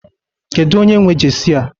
Kedu onye nwe jesi a?